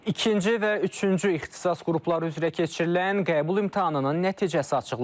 İkinci və üçüncü ixtisas qrupları üzrə keçirilən qəbul imtahanının nəticəsi açıqlanıb.